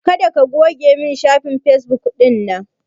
Kada ka goge min shafin fesbuk ɗina!